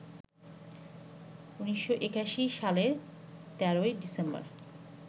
১৯৮১ সালের ১৩ই ডিসেম্বর